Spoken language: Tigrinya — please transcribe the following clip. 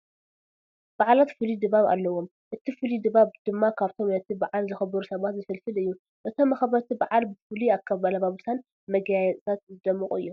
በዓላት ፍሉይ ድባብ ኣለዎም፡፡ እቲ ፍሉይ ድባብ ድማ ካብቶም ነቲ በዓል ዘኽብሩ ሰባት ዝፍልፍል እዩ፡፡ እቶም መኽበርቲ በዓል ብፍሉ ኣልባሳትን መጋየፅታት ዝደመቑ እዮም፡፡